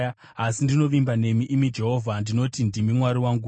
Asi ndinovimba nemi, imi Jehovha; ndinoti, “Ndimi Mwari wangu.”